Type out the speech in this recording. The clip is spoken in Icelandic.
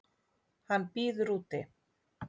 Hann bíður úti.